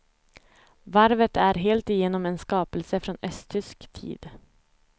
Varvet är helt igenom en skapelse från östtysk tid.